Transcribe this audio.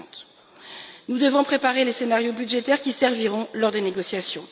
50. Nous devons préparer les scénarios budgétaires qui serviront lors des négociations.